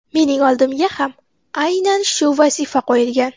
Mening oldimga ham aynan shu vazifa qo‘yilgan.